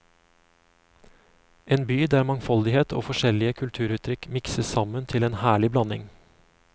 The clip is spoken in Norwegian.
En by der mangfoldighet og forskjellige kulturuttrykk mikses sammen til en herlig blanding.